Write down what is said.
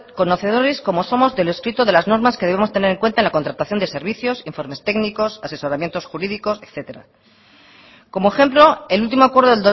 conocedores como somos de lo escrito de las normas que debemos tener en cuenta en la contratación de servicios informes técnicos asesoramientos jurídicos etcétera como ejemplo el último acuerdo